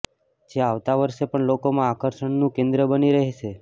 જે આવતા વર્ષે પણ લોકોમાં આકર્ષણનું કેન્દ્ર બની રહેશે